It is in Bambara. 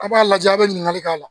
A b'a lajɛ a' bɛ ɲininkali k'a la